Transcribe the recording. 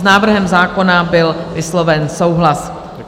S návrhem zákona byl vysloven souhlas.